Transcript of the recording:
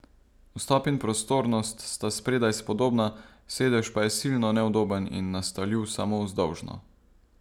Vstop in prostornost sta spredaj spodobna, sedež pa je silno neudoben in nastavljiv samo vzdolžno.